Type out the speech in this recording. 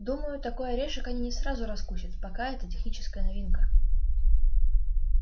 думаю такой орешек они не сразу раскусят пока это техническая новинка